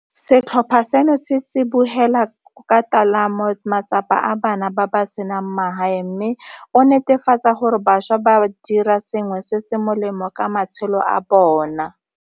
Setlhopha seno se tsibogela ka tolamo matsapa a bana ba ba senang magae mme o netefatsa gore bašwa ba dira sengwe se se molemo ka matshelo a bona.